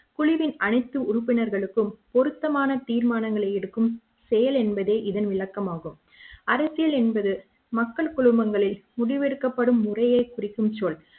குழுவின் அனைத்து உறுப்பினர்களுக்கும் பொருத்தமான தீர்மானங்களை எடுக்கும் செயல் என்பதே இதன் விளக்கமாகும் அரசியல் என்பது மக்கள் குழுமங்களின் முடிவெடுக்கப்படும் முறையை குறிக்கும் சொல்